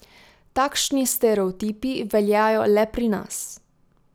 Takšni stereotipi veljajo le pri nas.